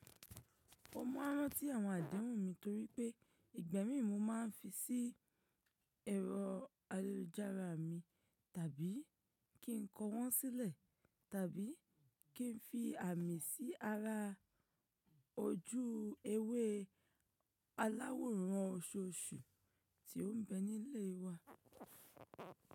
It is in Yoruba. Mo máa rántí àwọn àdéhùn mi torípé ìgba mi mo máa ń fi sí ẹ̀rọ ayélujára mi, tàbí kí n kọ wọ́n sílẹ̀, tàbí kí n fi àmì sí ara ojú ewé aláwòrán oṣooṣù tí ó ń bẹ nílé wa.